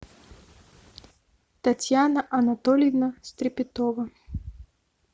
татьяна анатольевна стрепетова